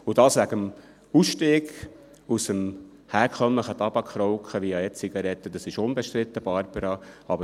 Das wegen des Ausstiegs aus dem herkömmlichen Tabakrauchen via E-Zigaretten ist unbestritten, Barbara Mühlheim.